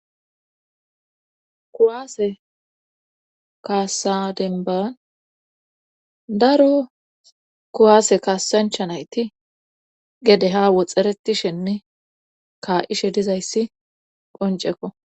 kuwaase kaasa demban daro kuwaase kaasancha nayti gede ha woxxeretishenne kaa'ishe dizayssi qoncekko